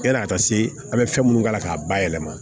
Yani a ka se an bɛ fɛn minnu k'a la k'a bayɛlɛma